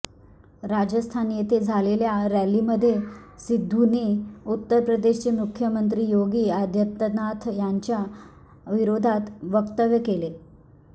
राजस्थान येथे झालेल्या रॅलीमध्ये सिद्धूने उत्तर प्रदेशचे मुख्यमंत्री योगी आदित्यनाथ यांच्या विरोधात वक्तव्य केले